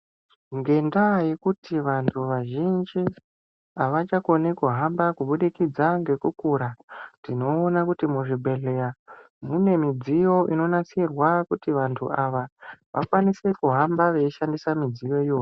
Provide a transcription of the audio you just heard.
Ngendaa yekuti vantu vazhinji havachakoni kuhamba kubudikidza ngekukura, tinoona kuti muzvibhedhlera mune midziyo inonasirwa kuti vantu ava, vakwanise kuhamba veishandisa midziyo iyoyo.